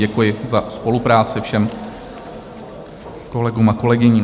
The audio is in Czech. Děkuji za spolupráci všem kolegům a kolegyním.